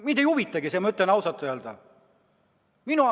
Mind ei huvitagi see, ma ütlen ausalt!